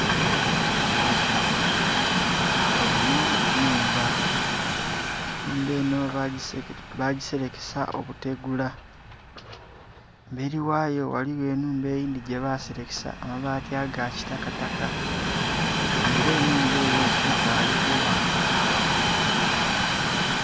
Enho nhumba, enhumba enho ba giserekesa obutegula, emberi ghayo ghaligho enhumba eyindhi gye baserekesa amabati aga kitakataka nga era enhumba eyo ekaali kugha.